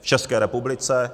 v České republice.